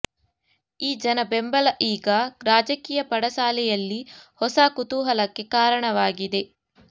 ಈ ಜನ ಬೆಂಬಲ ಈಗ ರಾಜಕೀಯ ಪಡಸಾಲೆಯಲ್ಲಿ ಹೊಸ ಕುತೂಹಲಕ್ಕೆ ಕಾರಣವಾಗಿದೆ